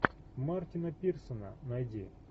мартина пирсона найди